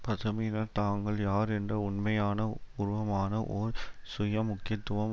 பசுமையினர் தாங்கள் யார் என்ற உண்மையான உருவமான ஓர் சுய முக்கியத்துவம்